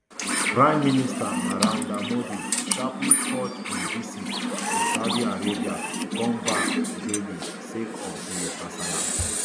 prime minister narendra modi sharparly cut im visit to saudi arabia come back delhi sake of di kasala